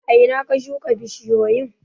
A ina ka shuka bishiyoyin?